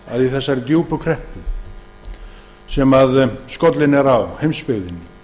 í þeirri djúpu kreppu sem skollin er á heimsbyggðinni